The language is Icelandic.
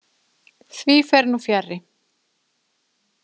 Því fer nú fjarri.